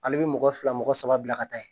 Ale bɛ mɔgɔ fila mɔgɔ saba bila ka taa yen